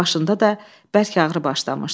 Başında da bərk ağrı başlamışdı.